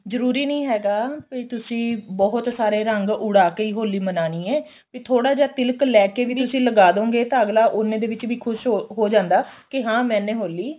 ਜਰੂਰੀ ਨਹੀਂ ਹੈਗਾ ਵੀ ਤੁਸੀਂ ਬਹੁਤ ਸਾਰੇ ਰੰਗ ਉਡਾ ਕੇ ਹੀ ਹੋਲੀ ਮਨਾਨੀ ਏ ਵੀ ਥੋੜਾ ਜਾ ਤਿਲਕ ਲੈਕੇ ਵੀ ਤੁਸੀਂ ਲਗਾ ਦੋਗੇ ਤਾਂ ਅੱਗਲਾ ਉੰਨੇ ਦੇ ਵਿੱਚ ਵੀ ਖੁਸ਼ ਹੋ ਜਾਂਦਾ ਕਿ ਹਾਂ ਮੈਨੇ ਹੋਲੀ